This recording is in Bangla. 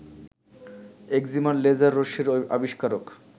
এক্সিমার লেজার রশ্মির আবিষ্কারক